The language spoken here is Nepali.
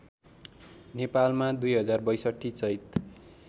नेपालमा २०६२ चैत